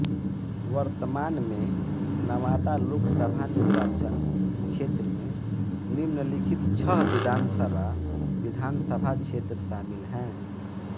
वर्तमान में नवादा लोकसभा निर्वाचन क्षेत्र में निम्नलिखित छह विधानसभा विधान सभा क्षेत्र शामिल हैं